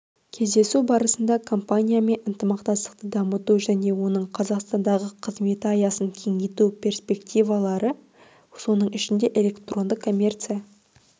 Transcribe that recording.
кездесу барысында компаниямен ынтымақтастықты дамыту және оның қазақстандағы қызметі аясын кеңейту перспективалары соның ішінде электронды коммерция